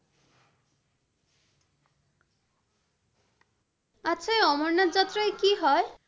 আচ্ছা এই অমরনাথ যাত্রায় কী হয়?